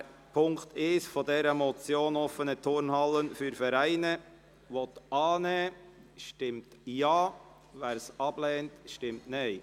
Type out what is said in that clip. Wer den Punkt 1 der Motion «Offene Turnhallen für Vereine» annehmen will, stimmt Ja, wer diesen ablehnt, stimmt Nein.